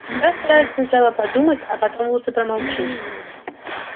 всегда старайся сначала подумать а потом лучше промолчи